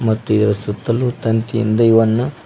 ಮತ್ತು ಇದರ ಸುತ್ತಲು ತಂತಿಯಿಂದ ಇವನ್ನ--